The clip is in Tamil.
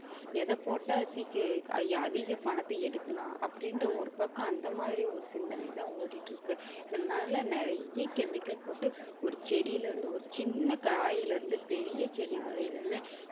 எத போட்டா சீக்~ அதிக பணத்தை எடுக்கலாம் அப்படின்ற ஒரு பக்கம் அந்த மாதிரி ஒரு சிந்தனை தான் ஓடிட்டு இருக்கு. இதனால நிறைய chemical போட்டு ஒரு செடில இருந்து ஒரு சின்ன காயிலிருந்து பெரிய செடி வரையிலுமே